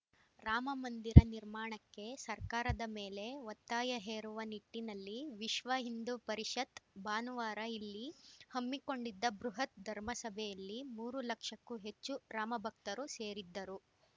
ರಾಮಮಂದಿರ ನಿರ್ಮಾಣಕ್ಕೆ ಸರ್ಕಾರದ ಮೇಲೆ ಒತ್ತಾಯ ಹೇರುವ ನಿಟ್ಟಿನಲ್ಲಿ ವಿಶ್ವ ಹಿಂದೂ ಪರಿಷತ್‌ ಭಾನುವಾರ ಇಲ್ಲಿ ಹಮ್ಮಿಕೊಂಡಿದ್ದ ಬೃಹತ್‌ ಧರ್ಮ ಸಭೆಯಲ್ಲಿ ಮೂರು ಲಕ್ಷಕ್ಕೂ ಹೆಚ್ಚು ರಾಮಭಕ್ತರು ಸೇರಿದ್ದರು